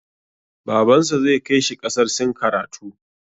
Babansa zai kai shi ƙasar Sin karatu.